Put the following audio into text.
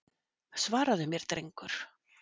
Svaraðu mér drengur!